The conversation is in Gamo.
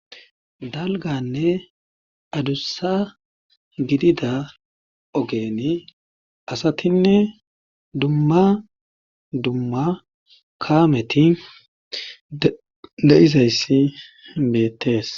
dalganne adussa gidida ogeni asatinne dumma dumma kaameti de7izayssi beettees